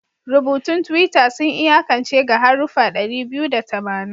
Rubutun Twitter sun iyakance ga haruffa ɗari biyu da tamanin